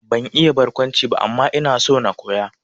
Ban iya barkwanci ba, amma ina so na koya